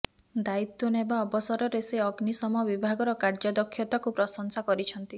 ଦାୟିତ୍ୱ ନେବା ଅବସରରେ ସେ ଅଗ୍ନିଶମ ବିଭାଗର କାର୍ଯ୍ୟ ଦକ୍ଷତାକୁ ପ୍ରଶଂସା କରିଛନ୍ତି